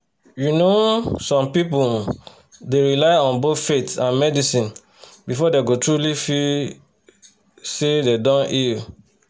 you know um some people um dey rely on both faith and medicine before dem go truly feel say dem don heal.